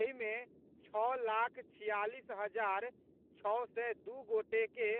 एहि मे छओ लाख छियालीस हजार छओ सय दू गोटे के